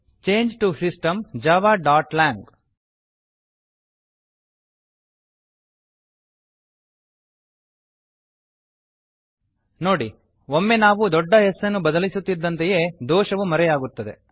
change to system javaಲಾಂಗ್ ನೋಡಿ ಒಮ್ಮೆ ನಾವು ದೊಡ್ಡ S ಅನ್ನು ಬದಲಿಸುತ್ತಿದ್ದಂತೆಯೇ ದೋಷವು ಮರೆಯಾಗುತ್ತದೆ